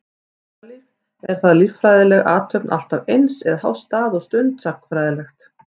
Ástalíf, er það líffræðileg athöfn alltaf eins, eða háð stað og stund, sagnfræðilegt?